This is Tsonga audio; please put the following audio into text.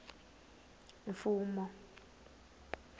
mfumo